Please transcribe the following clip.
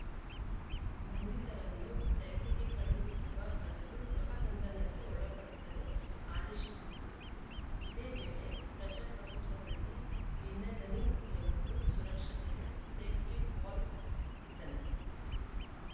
ಬಂಧಿತರನ್ನು ಜೈಲಿಗೆ ಕಳುಹಿಸುವ ಬದಲು ಗೃಹ ಬಂಧನಕ್ಕೆ ಒಳಪಡಿಸಲು ಆದೇಶಿಸಿತ್ತು ಇದೇ ವೇಳೆ ಪ್ರಜಾಪ್ರಭುತ್ವದಲ್ಲಿ ಭಿನ್ನದನಿ ಎಂಬುದು ಸುರಕ್ಷತೆಯ ಸೇಫ್ಟಿವಾಲ್‌ ಇದ್ದಂತೆ